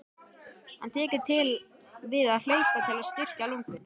Hann tekur til við að hlaupa til að styrkja lungun.